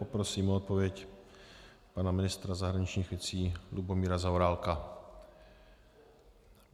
Poprosím o odpověď pana ministra zahraničních věcí Lubomíra Zaorálka.